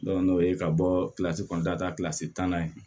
n'o ye ka bɔ kilasi kɔnɔntɔn ta tanna yen